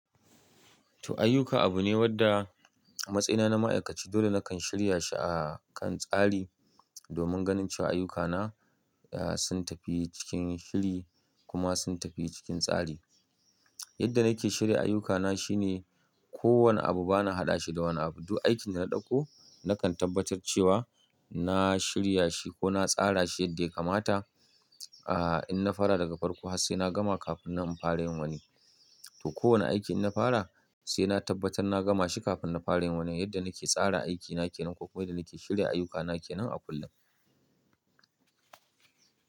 To ayyuka abu ne wanda a matsa yina na ma'aikaci dole nakan shirya shi a kan tsari domin ganin cewa ayyukana sun tafi cikin shiri kuma sun tafi cikin tsari. Yadda nake shirya ayyukana shine ko wane abu bana haɗa shi da wani abu. Duk aikin da na ɗauko nakan tabbatar cewa na shirya shi ko na tsara shi yadda ya kamata. Aaa, in na fara daga farko har sai na gama kafin nan infara wani. To kowane aiki in na fara sai na tabbatar na gama shi kafin na fara yin wani. Yadda nake tsara aikina kenan ko kuma yadda nake shirya ayyukana kenan a kullum.